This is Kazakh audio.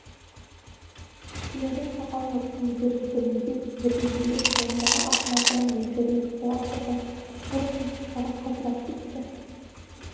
тілеудің сақал мұртын бір діріл билеп қолындағы ақ матаны елжірей сипалап тұрған кәрі саусақтары қалтырап кетті